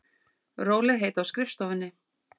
Rólegheit á skrifstofunni.